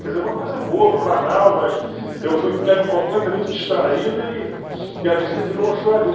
Quer dizer, uma coisa boba, banal, mas eu fui pego completamente distraído e e a visita virou uma choradeira.